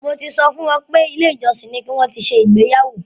Mo ti sọ fún wọn pé ilé ìjọsìn ni ki wọn ti ṣe ìgbéyàwó.